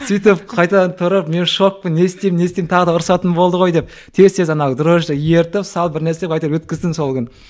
сөйтіп қайтадан тұрып мен шокпын не істеймін не істеймін тағы да ұрсатын болды ғой деп тез тез ана дрожи ерітіп салып бір нәрсе қылып әйтеуір өткіздім сол күні